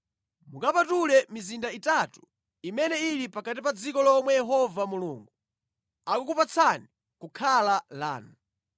mukapatule mizinda itatu imene ili pakati pa dziko lomwe Yehova Mulungu akukupatsani kukhala lanu.